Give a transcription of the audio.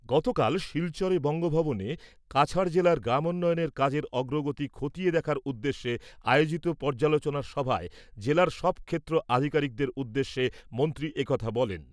গতকাল শিলচর বঙ্গভবনে কাছাড় জেলার গ্রামোন্নয়নের কাজের অগ্রগতি খতিয়ে দেখার উদ্দেশ্যে আয়োজিত পর্যালোচনা সভায় জেলার সব ক্ষেত্র আধিকারিকদের উদ্দেশ্যে মন্ত্রী এ কথা বলেন।